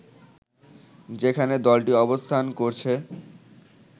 যেখানে দলটি অবস্থান করছে